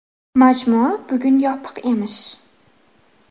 Majmua bugun yopiq emish”.